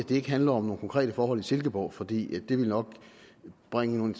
det ikke handler om nogle konkrete forhold i silkeborg for det ville nok bringe nogle